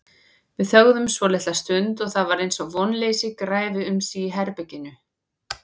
Við þögðum svolitla stund og það var eins og vonleysi græfi um sig í herberginu.